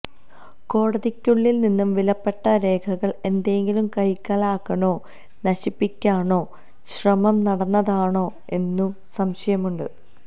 കോടതിക്കുള്ളില് നിന്ന് വിലപ്പെട്ട രേഖകള് എന്തെങ്കിലും കൈക്കലാക്കാനോ നശിപ്പിക്കാനോ ശ്രമം നടന്നതാണോ എന്നും സംശയമുണ്ട്